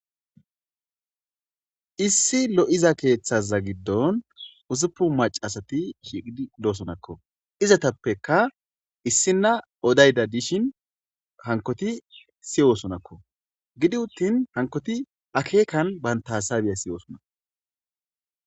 issi lo7iza keeththaza giddon uzupu macaasati hiidi doosonakko izatappeka issinna odayda dishin hankoti siyoosonakko gidi uttin hankoti akeekan bantasabiya siyoosona